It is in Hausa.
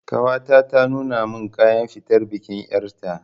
Ƙawata ta nuna min kayan fitar bikin ƴarta